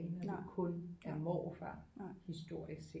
Når det kun er morfar historisk set